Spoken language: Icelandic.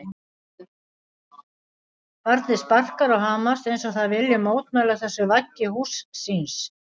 Barnið sparkar og hamast eins og það vilji mótmæla þessu vaggi húss síns.